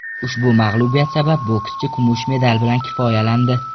Ushbu mag‘lubiyat sabab bokschi kumush medal bilan kifoyalandi.